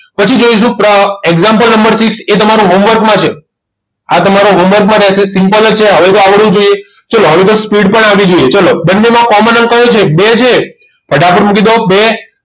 પછી જોઈશું example ઉપરથી એ તમારું homework મા છે આ તમારો homework માં રહેશે simple છે હવે તો આવડવું જોઈએ ચાલો હવે તો speed પણ આવી જોઈએ ચલો બંનેમાં common અંક કયો છે બે છે ફટાફટ મૂકી દો બે